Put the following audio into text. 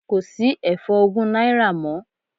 Kò sí ẹ̀fọ́ ogún náírà mọ́.